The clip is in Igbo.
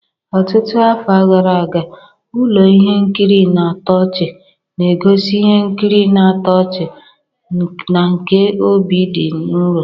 Ọtụtụ afọ gara aga, ụlọ ihe nkiri na-atọ ọchị na-egosi ihe nkiri na-atọ ọchị na nke obi dị nro.